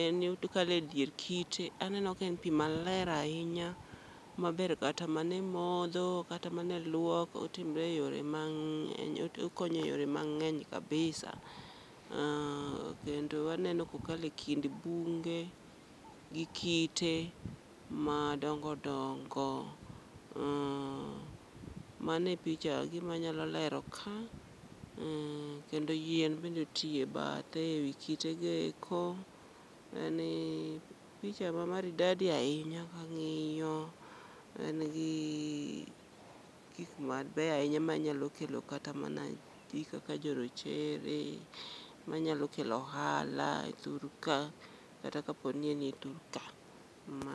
en okalo e dier kite. Aneno ka en pi maler ahinya ma ber kata mana e modho, kata mana e lwok. Otimre e yore mang'e, okonyo e yore mang'eny kabisa. Kendo aneno ko kalo e bunge gi kite ma dongo dongo, uh, mano e picha e gima nyalo lero ka. Uh kendo yien bende oti e bathe e wi kite go eko, en picha ma maridadi ahinya ka ng'iyo. En gi gik mabeyo ahinya ma nyalo kelo kata mana ji kaka jo rochere, manyalo kelo ohala e thurka. Kata kaponi en e thur ka!